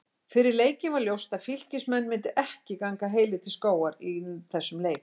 Fyrir leikinn var ljóst að Fylkismenn myndu ekki ganga heilir til skógar í þessum leik.